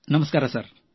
ನಮಸ್ಕಾರ ಸರ್